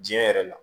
Diɲɛ yɛrɛ la